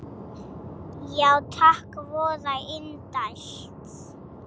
Já takk, voða indælt